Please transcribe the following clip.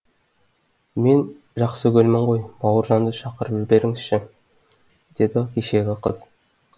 мен жақсыгүлмін ғой бауыржанды шақырып жіберіңізші деді кешегі қыз